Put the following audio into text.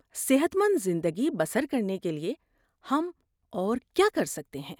صحت مند زندگی بسر کرنے کے لیے ہم اور کیا کر سکتے ہیں؟